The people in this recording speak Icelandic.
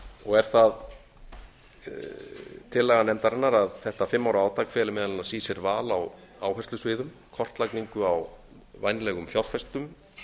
og er það tillaga nefndarinnar að þetta fimm ára átak feli meðal annars í sér val á áherslusviðum kortlagningu á vænlegum fjárfestum